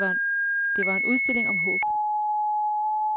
Det var en udstilling om håb.